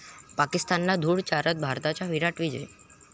पाकिस्तानला धूळ चारत, भारताचा 'विराट' विजय